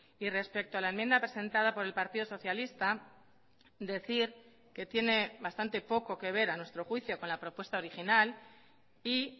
y respecto a la enmienda presentada por el partido socialista decir que tiene bastante poco que ver a nuestro juicio con la propuesta original y